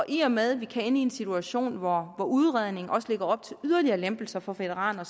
i og med at vi kan ende i en situation hvor udredningen også lægger op til yderligere lempelser for veteraner